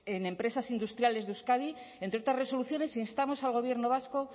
en empresas industriales de euskadi entre otras resoluciones instamos al gobierno vasco